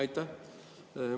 Aitäh!